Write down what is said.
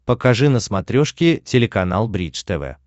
покажи на смотрешке телеканал бридж тв